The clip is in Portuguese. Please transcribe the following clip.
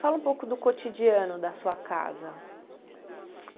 Fala um pouco do cotidiano da sua casa.